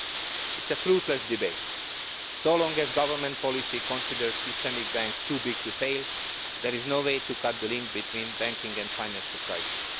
This is a fruitless debate. As long as government policy considers systemic banks too big to fail, there will be no way to cut the link between banking and the financial crisis.